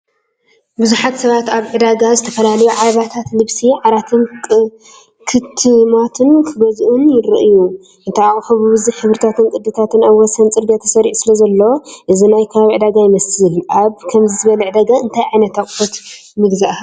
ብዙሓት ሰባት ኣብ ሓደ ዕዳጋ ዝተፈላለዩ ዓለባታትን ልብሲ ዓራትን ክጥምቱን ክገዝኡን ይረኣዩ። እቲ ኣቑሑት ብብዙሕ ሕብርታትን ቅዲታትን ኣብ ወሰን ጽርግያ ተሰሪዑ ስለዘሎ፡ እዚ ናይ ከባቢ ዕዳጋ ይመስል። ኣብ ከምዚ ዝበለ ዕዳጋ እንታይ ዓይነት ኣቑሑት ምገዛእካ?